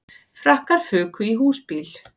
Frakkar fuku í húsbíl